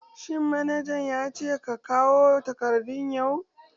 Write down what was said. Shin manaja ya ce ka kawo takardu yau?